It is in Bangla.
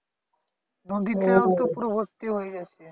নদীতেও তো পুরো ভর্তি হয়ে গেছে